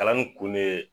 Kalan nin kun ne ye